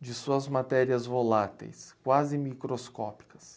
de suas matérias voláteis, quase microscópicas.